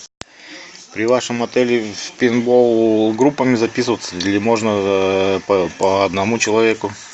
при вашем отеле в пейнтбол группами записываться или можно по одному человеку